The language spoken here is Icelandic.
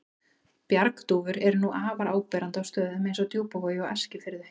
Bjargdúfur eru nú afar áberandi á stöðum eins og Djúpavogi og Eskifirði.